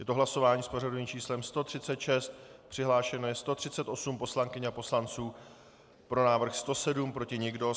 Je to hlasování s pořadovým číslem 136, přihlášeno je 138 poslankyň a poslanců, pro návrh 107, proti nikdo.